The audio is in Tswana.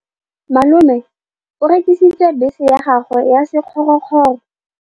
Malome o rekisitse bese ya gagwe ya sekgorokgoro.